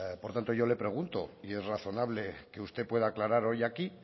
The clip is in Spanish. por tanto yo le pregunto y es razonable que usted pueda aclarar hoy aquí